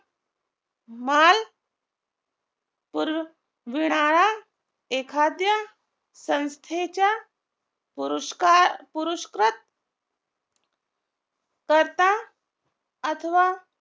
माल पुरविणारा एखाद्या संस्थेच्या पुरूशकर पुरुषकृत कर्ता अथवा